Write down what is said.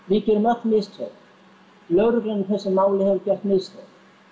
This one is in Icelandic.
við gerum öll mistök lögreglan í þessu máli hefur gert mistök